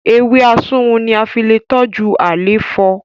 Ewé asunwun ní a lẹ fí toju àléfọ